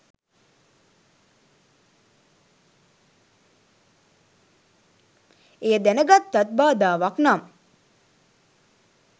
එය දැනගත්තත් බාධාවක් නම්